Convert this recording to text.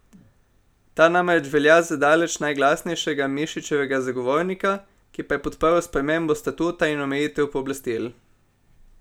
Ta namreč velja za daleč najglasnejšega Mišičevega zagovornika, ki pa je podprl spremembo statuta in omejitev pooblastil.